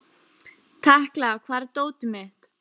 Tekla, hvar er dótið mitt?